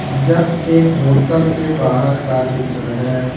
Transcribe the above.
यह एक होटल के बाहर का चित्र है।